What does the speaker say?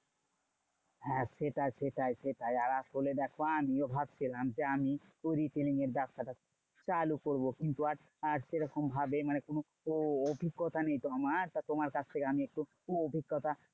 হ্যাঁ সেটাই সেটাই সেটাই, আর আসলে দেখো আমিও ভাবছিলাম যে আমি retailing এর ব্যাবসাটা চালু করবো। কিন্তু আর আর সেরকম ভাবে মানে কোনো অভিজ্ঞতা নেই তো আমার। তোমার কাছ থেকে আমি একটু অভিজ্ঞতা